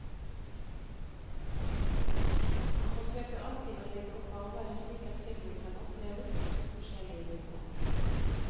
Han forsøker alltid å legge opp arbeidet slik at filmen kan oppleves på to forskjellige nivåer.